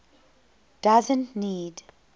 doesn t need